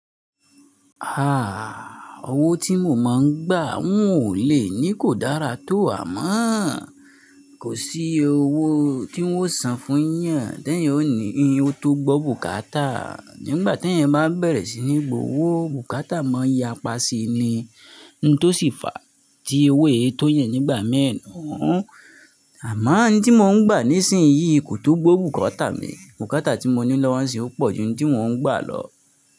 Ah! Ọwọ́ tí mo máa ń gbà wọn ò lè ní kò dára tó àmọ́o. Kò sí owó tí wọn ó san fún yàn, tí ẹ̀yan ó ní iyun tó gbó bùkátà. Nígbà tí ẹ̀yan bá bẹ̀rẹ̀ sí ní gbowó, bùkátà máa n yapá síi ni, ohun tó sì fà á tí owó èé tó yan nígbàmi nuu. Àmọ́ ohun tí mo ń gbà nísinsìnyí kò tó gbó bùkátà mi. Bùkátà tí mo ní lọ́wọ́ mi sì ó pọ̀ ju ohun tí mo ń gbà lọ.